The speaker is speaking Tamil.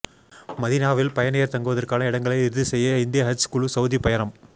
மதினாவில் பயணியர் தங்குவதற்கான இடங்களை இறுதி செய்ய இந்திய ஹஜ் குழு சவுதி பயணம்